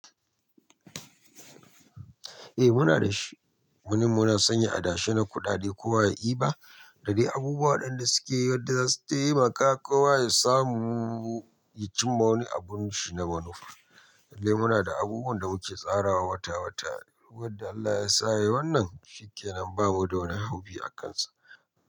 Eh muna da shi. Munimuna sanya a dashe na kuɗaɗe ko wa ya iba. Da dai abubuwa waɗin da suke yi wadda zasu taimaka kowa ya samu ya cimma wani abun shi na manufa. Dai muna da abubuwan da muke tsarawa wata wata. Yadda Allah ya sa yai wannan shikenan bamu da wani haufi a kan sa.